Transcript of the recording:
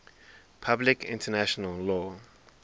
public international law